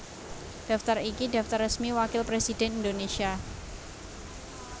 Daftar iki daftar resmi Wakil Presidhèn Indonésia